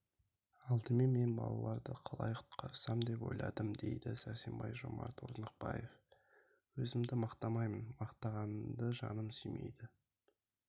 алдымен мен балаларды қалай құтқарсам деп ойладым дейді сәрсенбаева жомарт орнықбаев өзімді мақтамаймын мақтанғанды жаным сүймейді